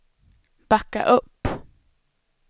backa upp